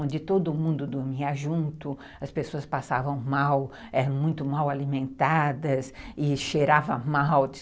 Onde todo mundo dormia junto, as pessoas passavam mal, eram muito mal alimentadas e cheiravam mal.